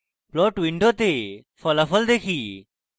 plot window ফলাফল দেখি